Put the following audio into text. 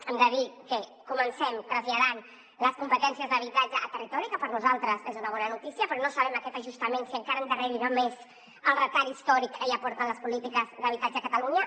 hem de dir que comencem traslladant les competències d’habitatge a territori que per nosaltres és una bona notícia però no sabem aquest ajustament si encara endarrerirà més el retard històric que ja porten les polítiques d’habitatge a catalunya